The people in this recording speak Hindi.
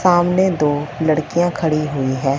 सामने दो लड़कियां खड़ी हुई हैं।